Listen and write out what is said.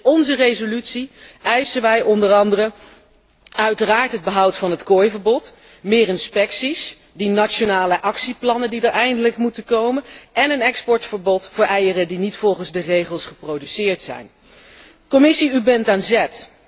In onze resolutie eisen wij onder andere uiteraard het behoud van het kooiverbod, meer inspecties, die nationale actieplannen die er eindelijk moeten komen en een exportverbod voor eieren die niet volgens de regels geproduceerd zijn. Commissie, u bent aan zet!